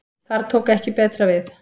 Þar tók ekki betra við.